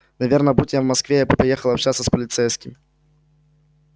наверное будь я в москве я бы поехал общаться с полицейским